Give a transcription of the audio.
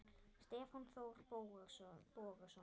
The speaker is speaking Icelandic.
Stefán Þór Bogason